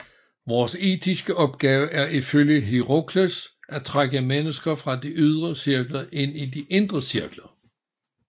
Vores etiske opgave er ifølge Hierokles at trække mennesker fra de ydre cirkler ind i de indre cirkler